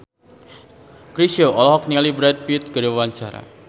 Chrisye olohok ningali Brad Pitt keur diwawancara